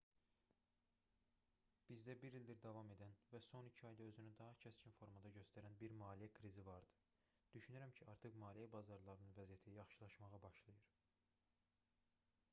bizdə bir ildir davam edən və son iki ayda özünü daha kəskin formada göstərən bir maliyyə krizi vardı düşünürəm ki artıq maliyyə bazarlarının vəziyyəti yaxşılaşmağa başlayır